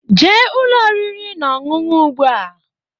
Jee Ụlọ oriri na ọṅụṅụ ugba!